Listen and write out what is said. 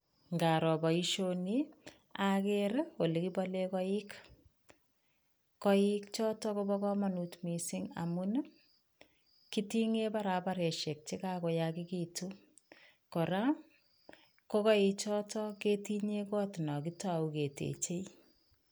Ngaro boisioni, aker olekibole koik, koik choto kobo kamanut mising amun ii, kitinge barabaresiek che kakoyakekitu, kora ko koi choto ketinye got no kitau ketechei.